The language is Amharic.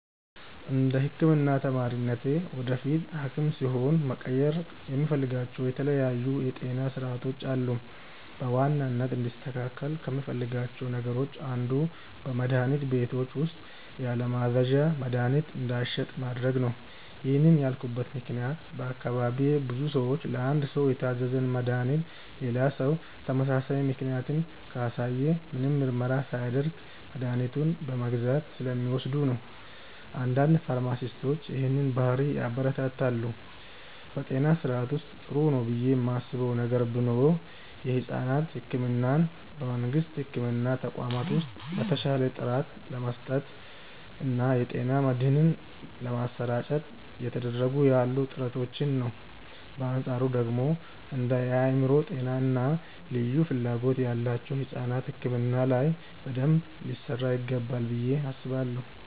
እንደ ህክምና ተማሪነቴ ወደፊት ሀኪም ስሆን መቀየር የምፈልጋቸው የተለያዩ የጤና ስርዓቶች አሉ። በዋናነት እንዲስተካከል ከምፈልጋቸው ነገሮች አንዱ በመድሀኒት ቤቶች ውስጥ ያለማዘዣ መድሀኒት እንዳይሸጥ ማድረግ ነው። ይህን ያልኩበት ምክንያት በአካባቢዬ ብዙ ሰዎች ለአንድ ሰው የታዘዘን መድሃኒት ሌላ ሰው ተመሳሳይ ምልክትን ካሳየ ምንም ምርመራ ሳያደርግ መድኃኒቱን በመግዛት ስለሚወስዱ ነው። አንዳንድ ፋርማሲስቶች ይህንን ባህሪ ያበረታታሉ። በጤና ስርዓቱ ውስጥ ጥሩ ነው ብዬ ማስበው ነገር ቢኖር የሕፃናት ሕክምናን በመንግስት የሕክምና ተቋማት ውስጥ በተሻለ ጥራት ለመስጠት እና የጤና መድህን ለማሰራጨት እየተደረጉ ያሉ ጥረቶችን ነው። በአንፃሩ ደግሞ እንደ የአእምሮ ጤና እና ልዩ ፍላጎት ያላቸው ሕፃናት ሕክምና ላይ በደንብ ሊሰራ ይገባል ብዬ አስባለሁ።